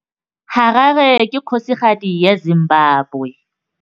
Harare ke kgosigadi ya Zimbabwe.